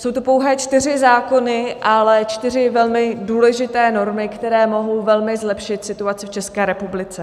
Jsou to pouhé čtyři zákony, ale čtyři velmi důležité normy, které mohou velmi zlepšit situaci v České republice.